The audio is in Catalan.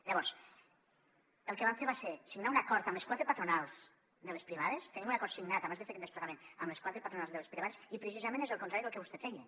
llavors el que vam fer va ser signar un acord amb les quatre patronals de les privades tenim un acord signat abans de fer aquest desplegament amb les quatre patronals de les privades i precisament és el contrari del que vostè feia